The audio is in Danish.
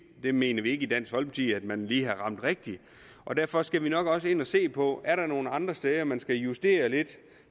vi mener ikke i dansk folkeparti at man lige har ramt rigtigt og derfor skal vi nok også ind at se på om er nogle andre steder hvor man skal justere lidt